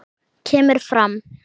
kemur fram